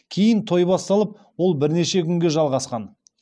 кейін той басталып ол бірнеше күнге жалғасқан